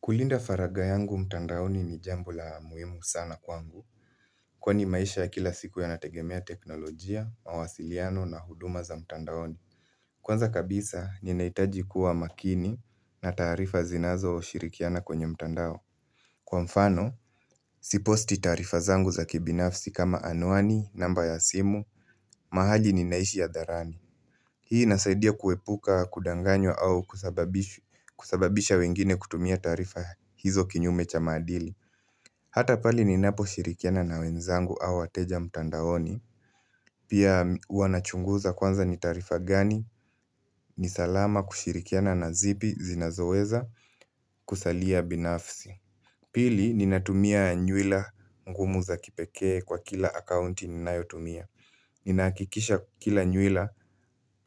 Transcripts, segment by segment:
Kuilinda faragha yangu mtandaoni ni jambo la muhimu sana kwangu kwani maisha ya kila siku yanategemea teknolojia, mawasiliano na huduma za mtandaoni Kwanza kabisa ninahitaji kuwa makini na taarifa zinazo shirikiana kwenye mtandao Kwa mfano, siposti taarifa zangu za kibinafsi kama anuani, namba ya simu, mahali ninaishi hadharani Hii inasaidia kuepuka, kudanganywa au kusababisha wengine kutumia taarifa hizo kinyume cha maadili Hata pale ninapo shirikiana na wenzangu au wateja mtandaoni Pia huwa nachunguza kwanza ni taarifa gani ni salama kushirikiana na zipi zinazoweza kusalia binafsi Pili ninatumia nywila ngumu za kipekee kwa kila akaunti ninayotumia Ninahakikisha kila nywila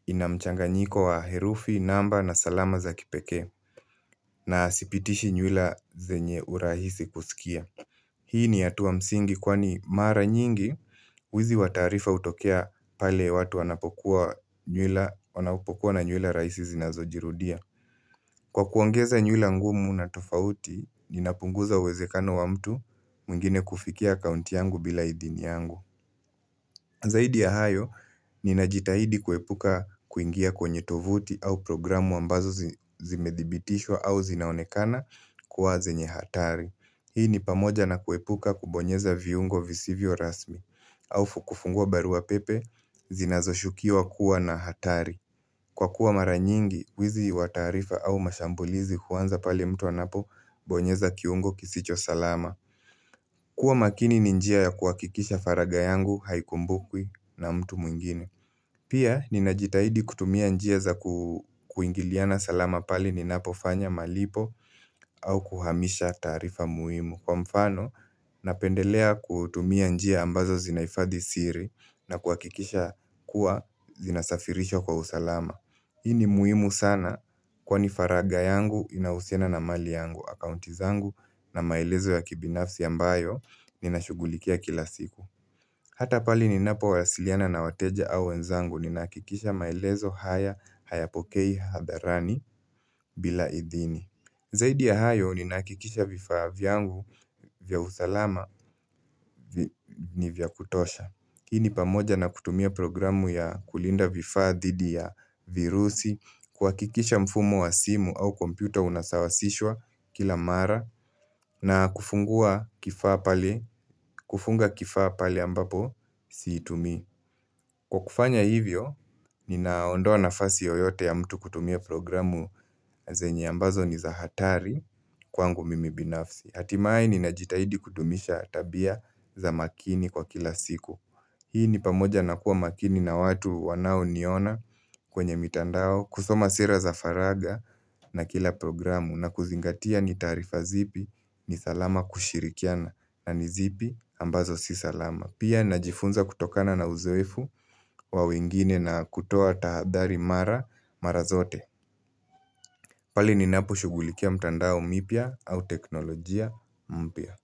ina mchanganyiko wa herufi, namba na salama za kipekee na sipitishi nywila zenye urahisi kusikia Hii ni hatua msingi kwani mara nyingi, wizi wa taarifa hutokea pale watu wanapokuwa na nywila rahisi zinazojirudia. Kwa kuongeza nyuila ngumu na tofauti, ninapunguza uwezekano wa mtu mwngine kufikia akaunti yangu bila idhini yangu. Zaidi ya hayo, ninajitahidi kuepuka kuingia kwenye tovuti au programu ambazo zimedhibitishwa au zinaonekana kuwa zenye hatari. Hii ni pamoja na kuepuka kubonyeza viungo visivyo rasmi au kufungua barua pepe, zinazo shukiwa kuwa na hatari. Kwa kuwa mara nyingi, wizi wa taarifa au mashambulizi huanza pale mtu anapobonyeza kiungo kisicho salama kuwa makini ni njia ya kuhakikisha faragha yangu, haikumbukwi na mtu mwingine Pia, ninajitahidi kutumia njia za kuingiliana salama pale ninapo fanya malipo au kuhamisha taarifa muhimu. Kwa mfano, napendelea kutumia njia ambazo zinahifadhi siri na kuhakikisha kuwa zinasafirisha kwa usalama Hii ni muhimu sana kwani faragha yangu inahusiana na mali yangu, akaunti zangu na maelezo ya kibinafsi ambayo nina shugulikia kila siku Hata pale ninapo wasiliana na wateja au wenzangu ninakikisha maelezo haya hayapokei hadharani bila idhini Zaidi ya hayo, ninahakikisha vifaa vyangu vya usalama ni vya kutosha. Hii ni pamoja na kutumia programu ya kulinda vifaa dhidi ya virusi, kuhakikisha mfumo wa simu au kompyuta unasawasishwa kila mara, na kufungua kifaa pale kufunga kifaa pale ambapo siitumi. Kwa kufanya hivyo, ninaondoa nafasi yoyote ya mtu kutumia programu zenye ambazo ni za hatari kwangu mimi binafsi. Hatimaye ninajitahidi kudumisha tabia za makini kwa kila siku Hii ni pamoja na kuwa makini na watu wanao niona kwenye mitandao kusoma sera za faragha na kila programu na kuzingatia ni tarifa zipi ni salama kushirikiana na ni zipi ambazo si salama. Pia najifunza kutokana na uzoefu wa wengine na kutoa tahadhari mara mara zote pale ninapo shugulikia mtandao mipya au teknolojia mpya.